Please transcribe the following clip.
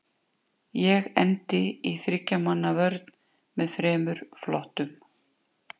Ég endi í þriggja manna vörn með þremur flottum.